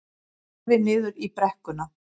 Horfði niður í brekkuna.